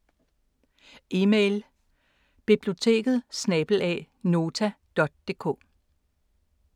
Email: biblioteket@nota.dk